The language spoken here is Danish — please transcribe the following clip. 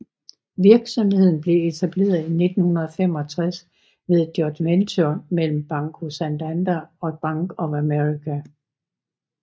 Virksomheden blev etableret i 1965 ved et joint venture mellem Banco Santander og Bank of America